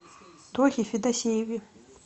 тохе федосееве